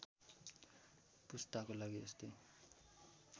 पुस्ताको लागि यस्तै